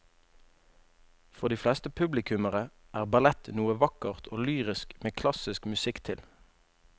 For de fleste publikummere er ballett noe vakkert og lyrisk med klassisk musikk til.